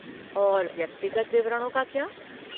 और व्यक्तिगत विवरणों का क्या?